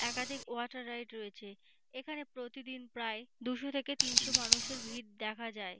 একাধিক water ride রয়েছে এখানে প্রতিদিন প্রায় দুশো থেকে তিনশো মানুষের ভিড় দেখা যায়।